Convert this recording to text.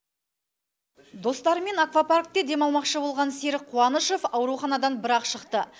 достарымен аквапаркте демалмақшы болған серік қуанышов ауруханадан бір ақ шықты